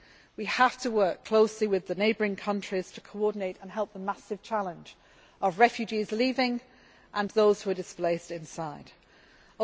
We have to work closely with the neighbouring countries to coordinate and help in the massive challenge of refugees leaving and those who are displaced internally.